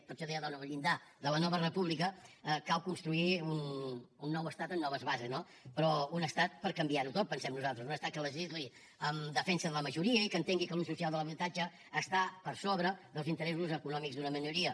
per això deia en el llindar de la nova república cal construir un nou estat amb noves bases no però un estat per canviar ho tot pensem nosaltres un estat que legisli en defensa de la majoria i que entengui que l’ús social de l’habitatge està per sobre dels interessos econòmics d’una minoria